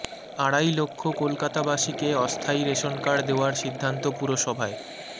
আড়াই লক্ষ কলকাতাবাসীকে অস্থায়ী রেশন কার্ড দেওয়ার সিদ্ধান্ত পুরসভায়